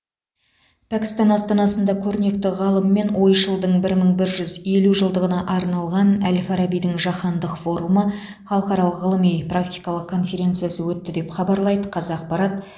пәкістан астанасында көрнекті ғалым мен ойшылдың бір мың бір жүз елу жылдығына арналған әл фарабидің жаһандық форумы халықаралық ғылыми практикалық конференциясы өтті деп хабарлайды қазақпарат